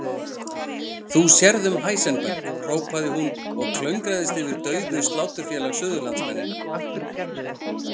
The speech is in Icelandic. Þú sérð um Heisenberg, hrópaði hún og klöngraðist yfir dauðu Sláturfélag Suðurlands- mennina.